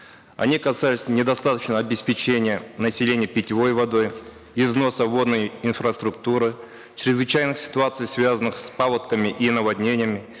они касались недостаточного обеспечения населения питьевой водой износа водной инфраструктуры чрезвычайных ситуаций связанных с паводками и наводнениями